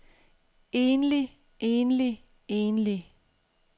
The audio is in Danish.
enlig enlig enlig